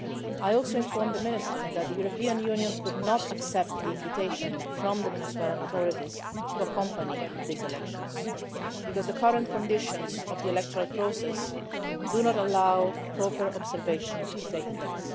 I also informed the Minister that the European Union could not accept the invitation from the Venezuelan authorities to monitor these elections because the current conditions of the electoral process do not allow a proper observation to take place.